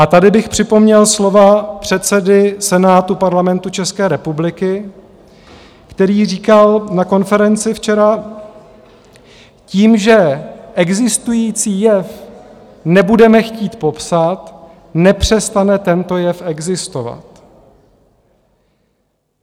A tady bych připomněl slova předsedy Senátu Parlamentu České republiky, který říkal na konferenci včera: Tím, že existující jev nebudeme chtít popsat, nepřestane tento jev existovat.